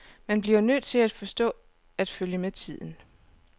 Man bliver nødt til at forstå at følge med tiden.